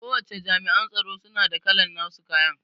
Kowace Jami'an tsaro suna da kalan nasu kayan